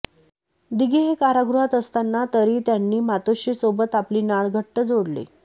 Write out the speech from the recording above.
दिघे हे कारागृहात असतांना तरे यांनी मातोश्रीसोबत आपली नाळ घट्ट जोडली